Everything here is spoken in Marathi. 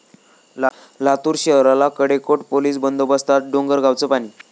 लातूर शहराला कडेकोट पोलीस बंदोबस्तात डोंगरगावचं पाणी